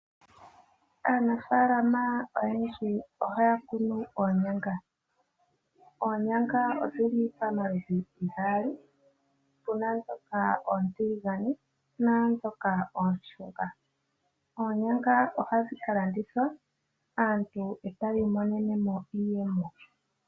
Aanafaalama oyendji ohaya kunu oonyanga. Oonyanga odhili pomaludhi gaali . Puna ndhoka oontiligane ,opuna ndhoka oonshunga . Oonyanga ohadhi ka landithwa aantu eta ya imonenemo iiyemo.